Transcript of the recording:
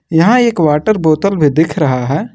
यहां एक वाटर बोतल में दिख रहा है।